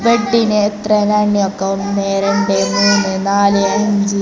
ബെഡിന് എത്ര എണ്ണം എന്ന് എണ്ണി നോക്കാം ഒന്ന് രണ്ട് മൂന്ന് നാല് അഞ്ച്--